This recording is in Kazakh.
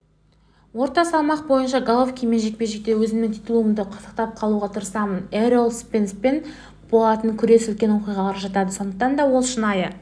орта салмақ бойынша головкинмен жекпе-жекте өзімнің титулымды сақтап қалуға тырысамын эррол спенспен болатын күрес үлкен оқиғаларға жатады сондықтан да ол шынайы